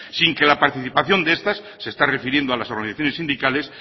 sin que la participación de estas se está refiriendo a las organizaciones sindicales